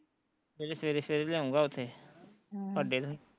ਸਵੇਰੇ ਸਵੇਰੇ ਸਵੇਰੇ ਲਿਆਊਗਾ ਓਥੇ ਅੱਡੇ ਤੇ